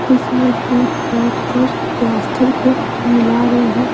कुछ लोग दूर बैठकर प्लास्टर को मिला रहे हैं।